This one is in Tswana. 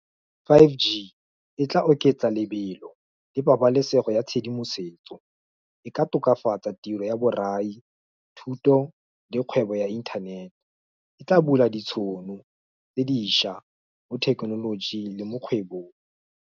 Five G e tla oketsa lebelo le pabalesego ya tshedimosetso. E ka tokafatsa tiro ya borai thuto le kgwebo ya internet. E tla bula ditšhono tse dišwa mo thekenolojing le mo kgwebong.